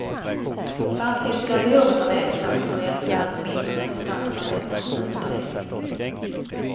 Samtidigt blir behovet av elkraft och bränsle allt mindre med distansarbetets utbredning.